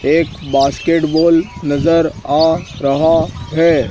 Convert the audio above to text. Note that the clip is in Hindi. एक बास्केटबॉल नजर आ रहा है।